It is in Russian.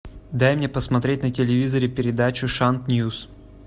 дай мне посмотреть на телевизоре передачу шант ньюс